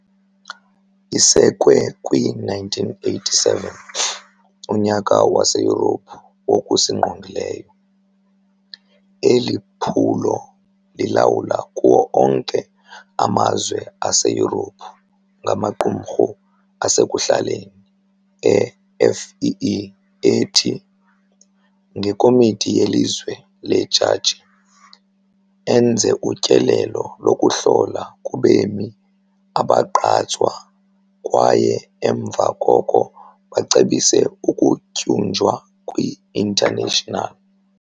Isekwe kwi-1987, uNyaka waseYurophu wokusiNgqongileyo, eli phulo lilawulwa kuwo onke amazwe aseYurophu ngamaqumrhu asekuhlaleni e-FEE ethi, ngekomiti yelizwe lejaji, enze utyelelo lokuhlola kubemi abagqatswa kwaye emva koko bacebise ukutyunjwa kwi-International.